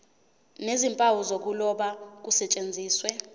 nezimpawu zokuloba kusetshenziswe